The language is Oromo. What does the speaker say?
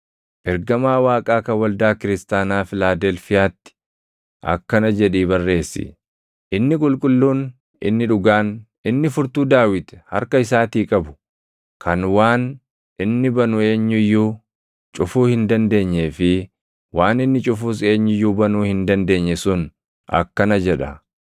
“Ergamaa Waaqaa kan waldaa kiristaanaa Filaadelfiyaatti + 3:7 Filaadelfiyaatti – Filaadelfiyaan wiirtuu daldalaa kan hojii gogaatii fi jirbiitiin beekamte, kan lafa qotiisaa badhaadhaa isaatiin marfamtee dha; garuu sochii lafaatiif saaxilamtuu dha. akkana jedhii barreessi: Inni qulqulluun, inni dhugaan, inni furtuu Daawit harka isaatii qabu, kan waan inni banu eenyu iyyuu cufuu hin dandeenyee fi waan inni cufus eenyu iyyuu banuu hin dandeenye sun akkana jedha.